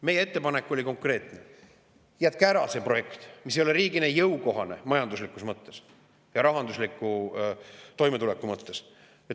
Meie ettepanek oli konkreetne: jätke ära see projekt, mis ei ole riigile jõukohane majanduslikus mõttes ja rahandusliku toimetuleku mõttes.